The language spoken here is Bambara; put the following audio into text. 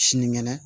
Sinikɛnɛ